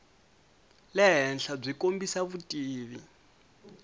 le henhla byi kombisa vutivi